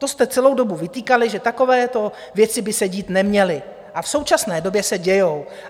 To jste celou dobu vytýkali, že takovéto věci by se dít neměly, a v současné době se dějí.